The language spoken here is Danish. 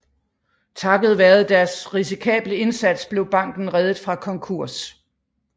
Takket være deres risikable indsats blev banken reddet fra konkurs